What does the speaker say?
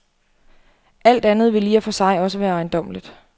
Alt andet ville i og for sig også være ejendommeligt.